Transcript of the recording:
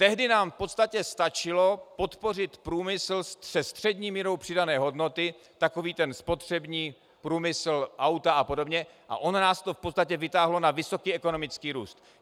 Tehdy nám v podstatě stačilo podpořit průmysl se střední mírou přidané hodnoty, takový ten spotřební průmysl, auta a podobně, a ono nás to v podstatě vytáhlo na vysoký ekonomický růst.